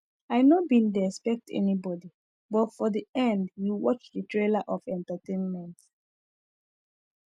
i no bin dey expect anybody but for the end we watch the thriller of entertainment